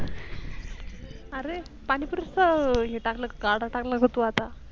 अरे, पाणी पुरीच हे गाडा टाकला का आता तू आता?